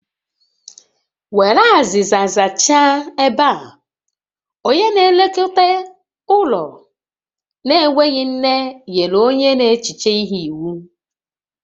Were azịza zachaa ebe a! Onye na-elekọta ụlọ na-enweghị nne nyere onye n'echiche ihe iwu